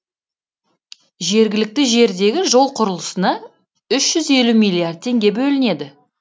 жергілікті жердегі жол құрылысына үш жүз елу миллиард теңге бөлінеді